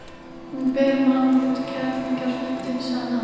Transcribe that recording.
Hún ber mann út, kerlingarfjandinn, sagði hann.